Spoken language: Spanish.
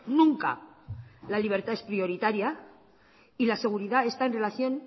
nunca la libertad es prioritaria y la seguridad está en relación